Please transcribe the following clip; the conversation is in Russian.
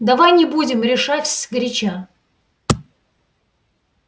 давай не будем решать сгоряча